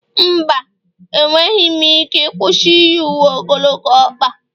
mba, enweghị m ike ịkwụsị iyi uwe ogologo ọkpa